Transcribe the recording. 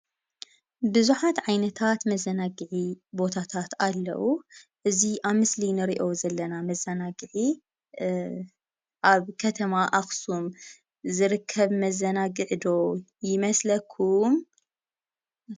ብዙሓት ዓይነት መዘናግዒ ቦታታት ኣለዉ፡፡ እዚ ኣብ ምስሊ ንሪኦ ዘለና መዘናግዒ ኣብ ከተማ ኣኽሱም ዝርከብ መዘናግዒ ዶ ይመስለኩም?